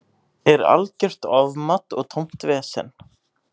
Er algjört ofmat og tómt vesen.